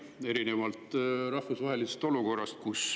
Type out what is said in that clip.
Seda erinevalt rahvusvahelisest olukorrast.